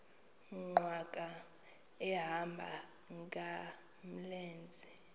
nkqwala ehamba ngamlenze